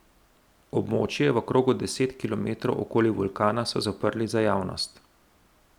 Območje v krogu deset kilometrov okoli vulkana so zaprli za javnost.